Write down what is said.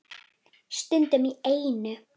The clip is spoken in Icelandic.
Stundum í einu.